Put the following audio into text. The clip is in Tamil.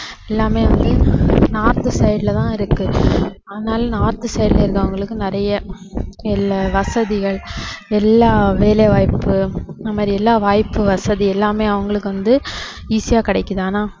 எல்லாமே வந்து north side ல தான் இருக்கு அதனால north side ல இருக்கிறவங்களுக்கு நிறைய எல்~ வசதிகள் எல்லா வேலைவாய்ப்பு இந்த மாதிரி எல்லா வாய்ப்பு வசதி எல்லாமே அவங்களுக்கு வந்து easy ஆ கிடைக்குது ஆனா